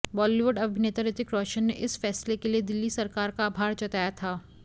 बॉलीवुड अभिनेता ऋतिक रोशन ने इस फैसले के लिए दिल्ली सरकार का आभार जताया था